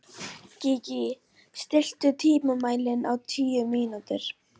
Gígí, stilltu tímamælinn á tíu mínútur.